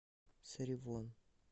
саривон